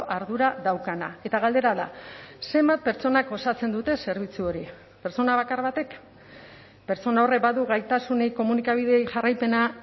ardura daukana eta galdera da zenbat pertsonak osatzen dute zerbitzu hori pertsona bakar batek pertsona horrek badu gaitasunik komunikabideei jarraipena